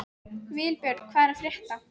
Vilbjörn, hvað er að frétta?